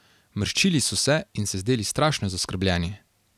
Mrščili so se in se zdeli strašno zaskrbljeni.